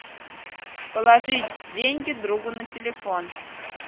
положить деньги другу на телефон